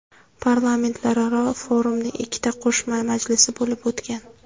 Parlamentlararo forumning ikkita qo‘shma majlisi bo‘lib o‘tgan.